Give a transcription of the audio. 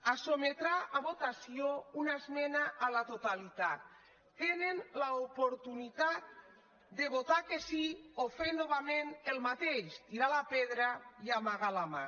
se sotmetrà a votació una esmena a la totalitat tenen l’oportunitat de votar que sí o fer novament el mateix tirar la pedra i amagar la mà